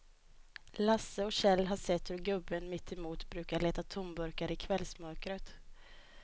Lasse och Kjell har sett hur gubben mittemot brukar leta tomburkar i kvällsmörkret.